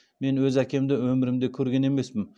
мен өз әкемді өмірімде көрген емеспін